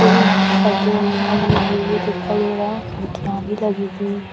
पिउछ पर्दे वगेरह भी लगे हुए दिखाई दे रहा हैं खिड़कियाँ भी लगी हुई --